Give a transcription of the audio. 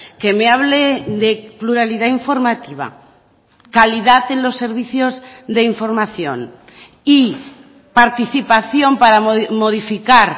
que me hable de pluralidad informativa calidad en los servicios de información y participación para modificar